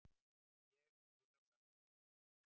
Og ég spyr á sama hátt: